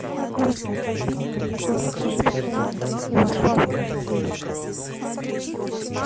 я гордо отодвинула его рукой в сторону и вошла в квартиру